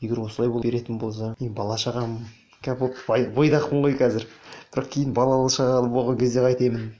егер осылай беретін болса мен бала шағам бойдақпын қой қазір бірақ кейін балалы шағалы болған кезде қайтемін